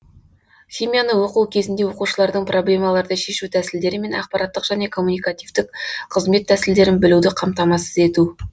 химияны оқу кезінде оқушылардың проблемаларды шешу тәсілдері мен ақпараттық және коммуникативтік қызмет тәсілдерін білуді қамтамасыз ету